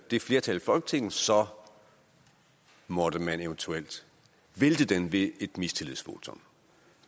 det flertal i folketinget så måtte man eventuelt vælte den ved et mistillidsvotum